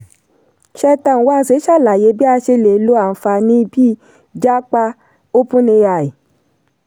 cheta nwanze ṣàlàyé bí a ṣe lè lo àǹfààní bíi 'jápa' openai.